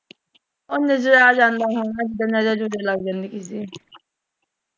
ਨਜਰ ਨੁਜਰ ਲੱਗ ਜਾਂਦੀ ਚੀਜ਼ ਨੂੰ।